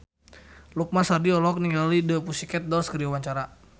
Lukman Sardi olohok ningali The Pussycat Dolls keur diwawancara